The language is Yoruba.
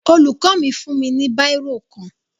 Olùkọ́ mi fún mi ní bírò kan